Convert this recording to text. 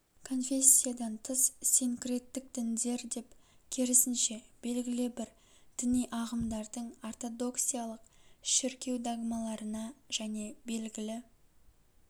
конфессиядан тыс синкреттік діндер деп керісінше белгілі бір діни ағымдардың ортодоксиялық шіркеу догмаларына және белгілі